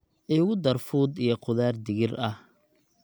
igu dar fuud iyo qudar digir ahh